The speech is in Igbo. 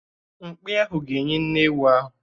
Mkpi ahụ ga-enyí nne ewu ahụ